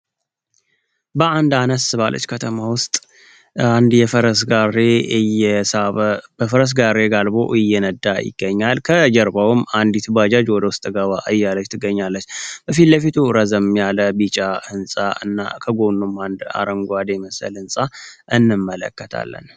በአንድ ዓነስ ባለች ከተማ ውስጥ በፈረስ ጋሬ ጋልቦ እየነዳ ይገኛል ከጀርባውም አንዲ ባጃጅ ወደ ውስጥ ገባ እያለች ትገኛለች ፊል ለፊቱ ረዘም ያለ ቢጫ ህንፃ እና ከጎኑም አንድ አረንጓዴ መሰል ህንፃ እንመለከታለን።